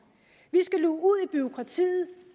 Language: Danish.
vi skal luge ud i bureaukratiet